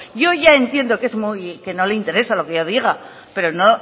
yo ya entiendo que es muy que no le interesa lo que yo diga pero no